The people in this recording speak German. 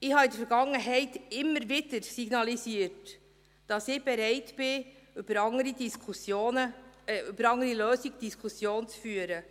Ich signalisierte in der Vergangenheit immer wieder, dass ich bereit bin, über andere Lösungen eine Diskussion zu führen.